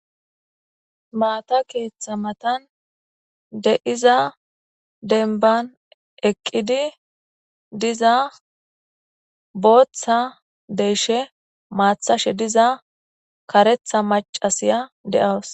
maata keeththa matan de7iza denban eqqidi diza booththa deeshe maathashe diza karetha macasiya de7awus